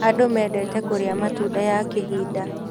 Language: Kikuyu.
Andũ mendete kũrĩa matunda ya kĩhinda.